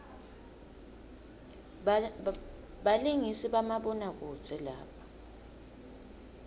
balingisi bamabona kudze laba